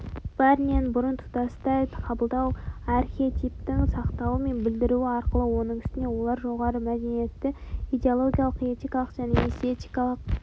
бәрінен бұрын тұтастай қабылдау архетипін сақтауы және білдіруі арқылы оның үстіне олар жоғары мәдениетті идеологиялық этикалық және эстетикалық